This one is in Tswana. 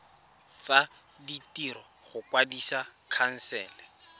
tsa ditiro go kwadisa khansele